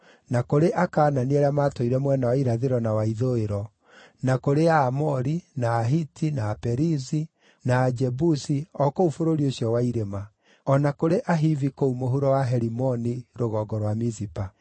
na kũrĩ Akaanani arĩa matũire mwena wa irathĩro na wa ithũĩro; na kũrĩ Aamori, na Ahiti, na Aperizi, na Ajebusi o kũu bũrũri ũcio wa irĩma; o na kũrĩ Ahivi kũu mũhuro wa Herimoni rũgongo rwa Mizipa.